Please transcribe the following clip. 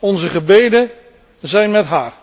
Onze gebeden zijn met haar.